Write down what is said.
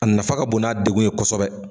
A nafa ka bon n'a degun ye kosɛbɛ